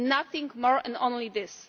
Nothing more, and only this.